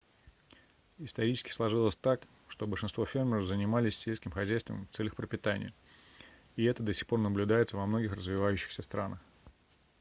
исторически сложилось так что большинство фермеров занимались сельским хозяйством в целях пропитания и это до сих пор наблюдается во многих развивающихся странах